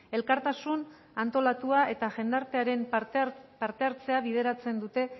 elkartasun antolatua eta jendartearen parte hartzea bideratzen dute